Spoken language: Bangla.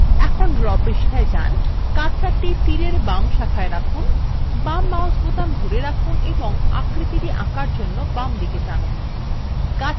এখন draw পৃষ্ঠায় যান কার্সারটি কে তীরarrow বাম শাখায় রাখুন বাম mouse বোতাম ধরে রাখুন এবং আকৃতিটি আঁকার জন্য বামদিকে টানুন